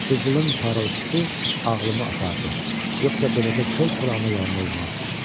qızılın parıltısı ağlımı apardı, yoxsa beləcə kol-kol ana yalana uymazdım.